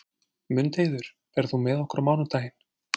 Mundheiður, ferð þú með okkur á mánudaginn?